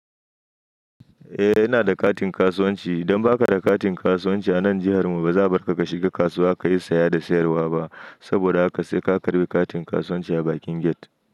Eh, ina da katin kasuwanci. Idan ba ka da katin kasuwanci a nan jihar mu, ba za a bar ka ka shiga kasuwa ka yi saya da sayarwa ba. Saboda haka sai ka karɓi katin kasuwanci a bakin gate.